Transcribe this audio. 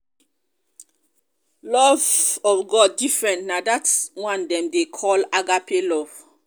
love of love of god different na dat one dem dey call agape love.